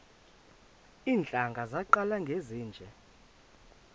iintlanga zaqala ngezinje